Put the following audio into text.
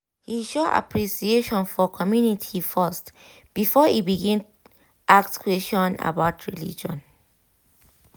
he show appreciation for community first before e begin ask question about religion